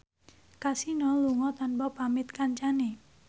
Kasino lunga tanpa pamit kancane